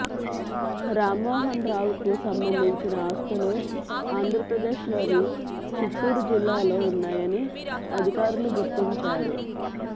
రామ్మోహన్ రావుకు సంబంధించిన ఆస్తులు ఆంధ్రప్రదేశ్ లోని చిత్తూరు జిల్లాలో ఉన్నాయని అధికారులు గుర్తించారు